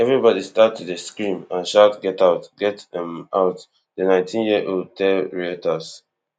everybody start to dey scream and shout get out get um out di nineteen year old tell reters